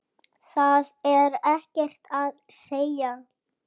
Það er ekkert að segja.